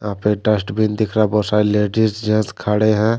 वहां पे डस्टबिन दिख रहा है बहुत सारे लेडीज जेंस खड़े हैं।